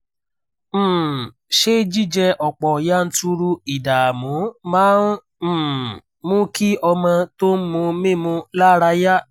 um ṣé jíjẹ ọ̀pọ̀ yanturu ìdààmú máa ń um mú kí ọmọ tó ń mu mímu lára yá?